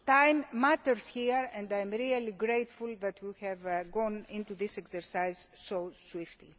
as possible. Time matters here and I am really grateful that we have gone into this exercise